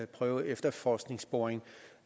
prøveefterforskningsboring